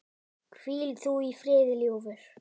Hvíl þú í friði, ljúfur.